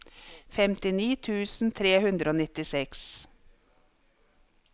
femtini tusen tre hundre og nittiseks